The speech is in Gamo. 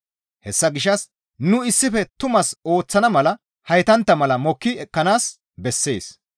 Hessa gishshas nu issife tumaas ooththana mala heytantta malata mokki ekkanaas bessees.